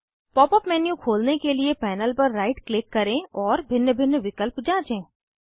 pop up menu खोलने के लिए पैनल पर राइट क्लिक करें और भिन्न भिन्न विकल्प जाँचें